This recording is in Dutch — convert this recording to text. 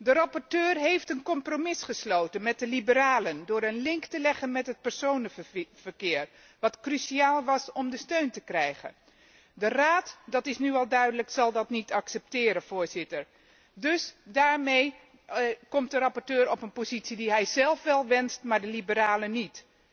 De rapporteur heeft een compromis gesloten met de Liberalen, door een link te leggen met het personenvervoer, hetgeen cruciaal was om hun steun te krijgen. De Raad dat is nu al duidelijk zal dat niet accepteren. Dus daarmee komt de rapporteur in een positie die hij zelf wel wenst, maar de Liberalen niet.